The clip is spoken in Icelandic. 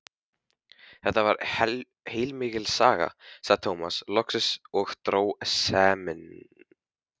Þetta var heilmikil saga, sagði Tómas loksins og dró seiminn.